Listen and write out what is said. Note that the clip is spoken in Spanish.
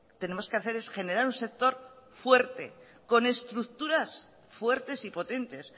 tenemos que hacer es generar un sector fuerte con estructuras fuertes y potentes